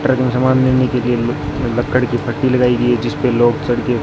truck में सामान लेने के लिए लक्कड़ की पट्टी लगाई गई है जिस पे लोग चढ़ के--